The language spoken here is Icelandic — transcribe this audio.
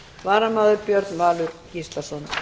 varamaður er björn valur gíslason